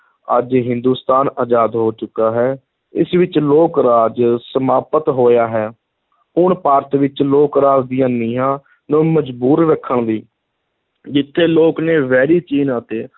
ਅੱਜ ਹਿੰਦੂਸਤਾਨ ਆਜ਼ਾਦ ਹੋ ਚੁੱਕਾ ਹੈ, ਇਸ ਵਿਚ ਲੋਕ-ਰਾਜ ਸਮਾਪਤ ਹੋਇਆ ਹੈ ਹੁਣ ਭਾਰਤ ਵਿਚ ਲੋਕ-ਰਾਜ ਦੀਆਂ ਨੀਂਹਾਂ ਨੂੰ ਮਜ਼ਬੂਤ ਰੱਖਣ ਲਈ, ਜਿੱਥੇ ਲੋਕ ਨੇ ਵੈਰੀ ਚੀਨ ਅਤੇ